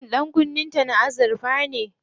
Shin ɗankunnen ta na azurfa ne?